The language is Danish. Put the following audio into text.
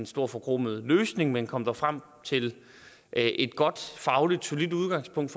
stor forkromet løsning men kom dog frem til et godt fagligt solidt udgangspunkt